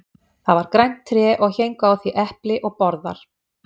Það var grænt tré og héngu á því epli og borðar.